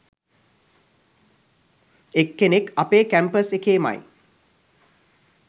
එක්කෙනෙක් අපේ කැම්පස් එකේමයි